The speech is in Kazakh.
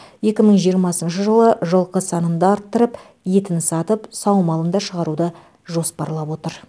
екі мың жиырмасыншы жылы жылқы санын да арттырып етін сатып саумалын да шығаруды жоспарлап отыр